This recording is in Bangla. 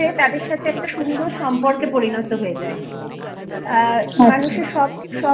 তাদের সাথে একটা সুন্দর সম্পর্কে পরিণত হয়ে যায় আচ্ছা আর মানুষের সব